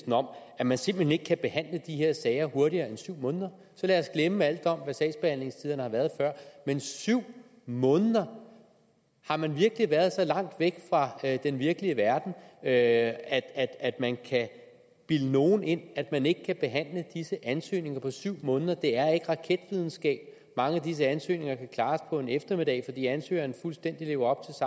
om at man simpelt hen ikke kan behandle de her sager hurtigere end syv måneder lad os glemme alt om hvad sagsbehandlingstiderne har været før men syv måneder har man virkelig været så langt væk fra den virkelige verden at at man kan bilde nogen ind at man ikke kan behandle disse ansøgninger på syv måneder det er ikke raketvidenskab mange af disse ansøgninger kan klares på en eftermiddag fordi ansøgeren fuldstændig lever